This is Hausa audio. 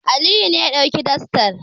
Aliyu ne ya ɗauki dastar.